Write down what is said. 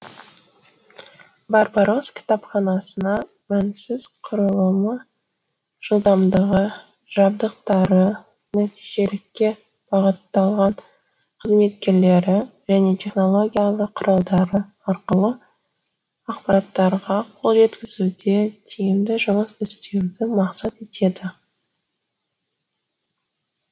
барбарос кітапханасынасына мінсіз құрылымы жылдамдығы жабдықтары нәтижелікке бағытталған қызметкерлері және технологиялық құралдары арқылы ақпаратқа қол жеткізуде тиімді жұмыс істеуді мақсат етеді